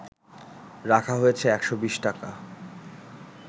রাখা হয়েছে ১২০ টাকা